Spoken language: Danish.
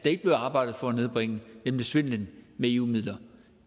ikke blev arbejdet for at nedbringe nemlig svindlen med eu midler